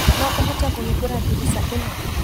No ũhote kũhingũra ndirica ĩno?